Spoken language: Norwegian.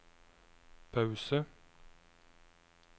pause